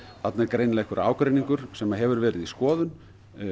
þarna er greinilega einhver ágreiningur sem hefur verið í skoðun